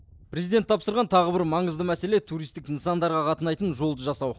президент тапсырған тағы бір маңызды мәселе туристік нысандарға қатынайтын жолды жасау